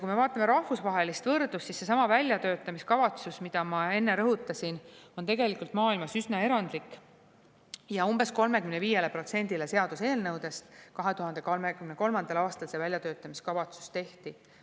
Kui me vaatame rahvusvahelist võrdlust, siis seesama väljatöötamiskavatsus, mida ma enne rõhutasin, on tegelikult maailmas üsna erandlik, aga umbes 35%-le seaduseelnõudest 2023. aastal väljatöötamiskavatsus tehti.